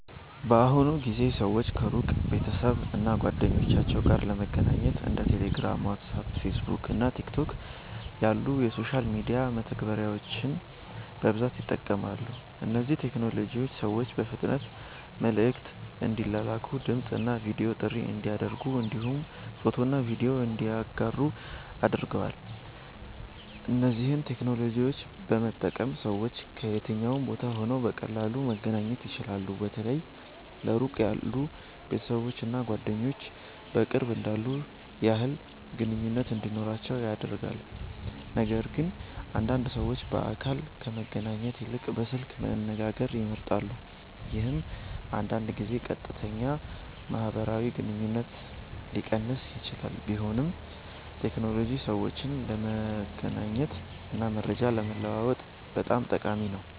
በአሁኑ ጊዜ ሰዎች ከሩቅ ቤተሰብ እና ጓደኞቻቸው ጋር ለመገናኘት እንደ ቴሌግራም፣ ዋትስአፕ፣ ፌስቡክ እና ቲክቶክ ያሉ የሶሻል ሚዲያ መተግበሪያዎችን በብዛት ይጠቀማሉ። እነዚህ ቴክኖሎጂዎች ሰዎች በፍጥነት መልዕክት እንዲላላኩ፣ ድምፅ እና ቪዲዮ ጥሪ እንዲያደርጉ እንዲሁም ፎቶና ቪዲዮ እንዲያጋሩ አድርገዋል። እነዚህን ቴክኖሎጂዎች በመጠቀም ሰዎች ከየትኛውም ቦታ ሆነው በቀላሉ መገናኘት ይችላሉ። በተለይ ለሩቅ ያሉ ቤተሰቦች እና ጓደኞች በቅርብ እንዳሉ ያህል ግንኙነት እንዲኖራቸው አድርጓል። ነገርግን አንዳንድ ሰዎች በአካል ከመገናኘት ይልቅ በስልክ መነጋገርን ይመርጣሉ፣ ይህም አንዳንድ ጊዜ ቀጥተኛ ማህበራዊ ግንኙነትን ሊቀንስ ይችላል። ቢሆንም ቴክኖሎጂ ሰዎችን ለመገናኘት እና መረጃ ለመለዋወጥ በጣም ጠቃሚ ነው።